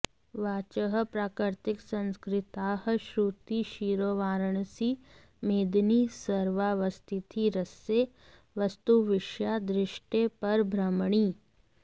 वाचः प्राकृतसंस्कृताः श्रुतिशिरोवाराणसी मेदिनी सर्वावस्थितिरस्य वस्तुविषया दृष्टे परब्रह्मणि